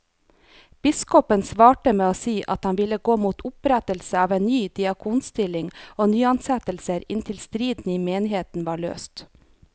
Biskopen svarte med å si at han ville gå mot opprettelse av ny diakonstilling og nyansettelser inntil striden i menigheten var løst.